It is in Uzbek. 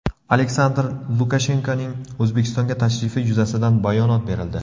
Aleksandr Lukashenkoning O‘zbekistonga tashrifi yuzasidan bayonot berildi.